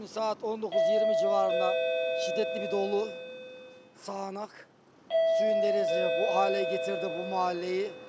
Saat 19:20 civarında şiddətli bir dolu, sağanak, suyun dənizi bu halə gətirdi bu mahalleyi.